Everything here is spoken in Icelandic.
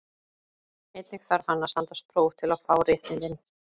Einnig þarf hann að standast próf til að fá réttindin.